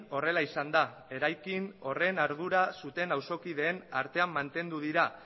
horrela izan da eraikin horren ardura zuten auzokideen artean mantendu dira